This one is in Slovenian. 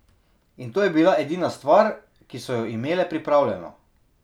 In to je bila edina stvar, ki so jo imele pripravljeno.